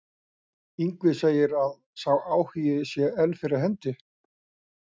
Ingvi segir að sá áhugi sé enn fyrir hendi.